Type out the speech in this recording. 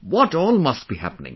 What all must be happening